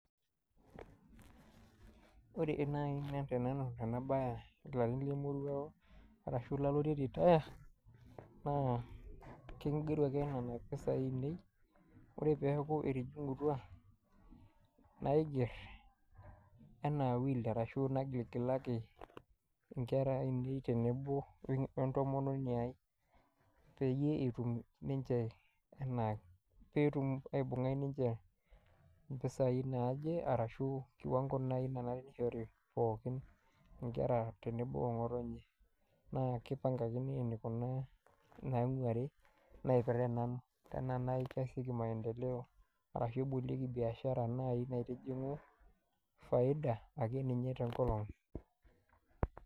Wore naai tenanu ena baye ilarin lemoruao, arashu laloitie retire, naa kaigeru ake niana pisai ainei, wore peeku etijingutua, naiger enaa will arashu nagiligilaki inkera ainei tenebo wentomononi ai. Peyie etum ninche enaa peetum aibunga ninche impisai naaje arashu kiwango naai nanare nishori pookin inkera tenebo ongotonye, naa kipangakini enikunaa inainguari, naipirare nanu. Tenaa naitasheiki maendeleo, arashu ebolieki biashara naaji naitijingu faida akeninye tenkolong.